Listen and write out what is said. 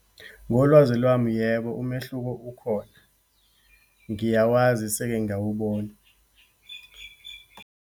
Ngolwazi lwami, yebo umehluko ukhona. Ngiyawazi, seke ngawubona.